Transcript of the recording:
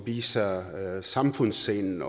viser samfundssind